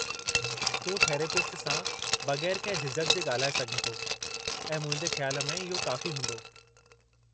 तूं थेरेपिस्ट सां बगै़रु कंहिं झिझक जे ॻाल्हाए सघीं थो, ऐं मुंहिंजे ख्याल में इहो काफ़ी हूंदो।